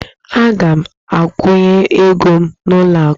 Aga m akwụnye ego m n'ụlọ akụ